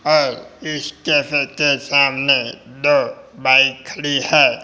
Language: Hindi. और इस कैफे के सामने दो बाइक खड़ी है।